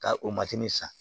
Ka o san